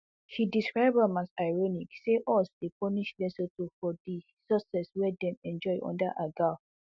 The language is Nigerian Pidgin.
she describe am as ironic say us dey punish lesotho for di success wey dem enjoy under agoa